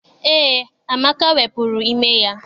Eé, Amaka wepụrụ ime ya.